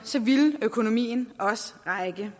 ville økonomien også række